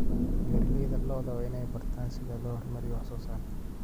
Beeralayda lo'da waa inay bartaan sida loo horumariyo wax soo saarka.